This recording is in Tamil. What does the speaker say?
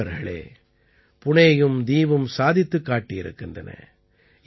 நண்பர்களே புணேயும் தீவும் சாதித்துக் காட்டியிருக்கின்றன